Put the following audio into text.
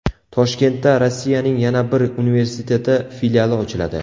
Toshkentda Rossiyaning yana bir universiteti filiali ochiladi.